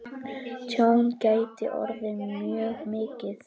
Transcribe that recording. Tjón gæti orðið mjög mikið.